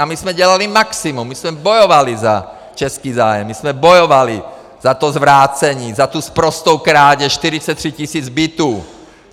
A my jsme dělali maximum, my jsme bojovali za český zájem, my jsme bojovali za to zvrácení, za tu sprostou krádež 43 tisíc bytů.